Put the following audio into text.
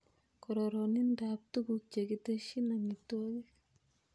Kororonindab tuguk chekitesyin amitwogik